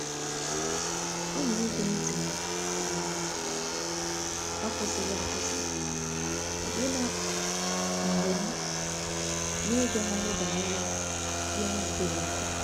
ọ na ege nti na um akwụsighi akwụsi, ọbụna mgbe m n'igaghari banyere ihe na adighi mkpa